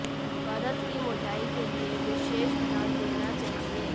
परत की मोटाई के लिए विशेष ध्यान देना चाहिए